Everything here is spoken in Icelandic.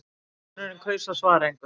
Stjúpsonurinn kaus að svara engu.